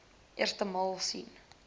eerste maal sien